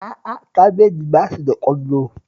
A'a, kabeji ba shi da ƙwallo